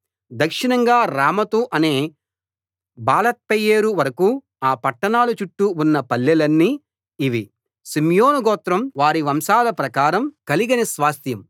దక్షిణంగా రామతు అనే బాలత్బెయేరు వరకూ ఆ పట్టణాల చుట్టూ ఉన్న పల్లెలన్నీ ఇవి షిమ్యోను గోత్రం వారి వంశాల ప్రకారం కలిగిన స్వాస్థ్యం